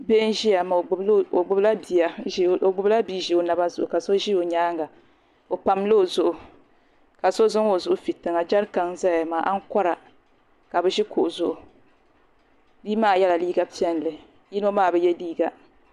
Bii nʒiya maa ɔgbubila bii nʒi ɔ naba zuɣu ka so ʒi ɔ nyaaŋa , ɔpamla ɔzuɣu, ka so zaŋ ɔzuɣu fi tiŋa jarikan nzaya maa, ankora ka bi ʒi kuɣu zuɣu biimaa yela liiga piɛli yinɔ maa bi ye liiga,